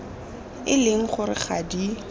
e leng gore ga di